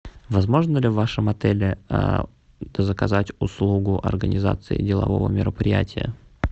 возможно ли в вашем отеле заказать услугу организации делового мероприятия